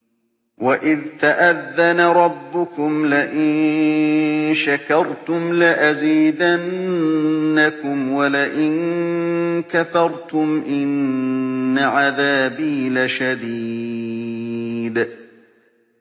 وَإِذْ تَأَذَّنَ رَبُّكُمْ لَئِن شَكَرْتُمْ لَأَزِيدَنَّكُمْ ۖ وَلَئِن كَفَرْتُمْ إِنَّ عَذَابِي لَشَدِيدٌ